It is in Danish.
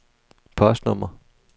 postnummer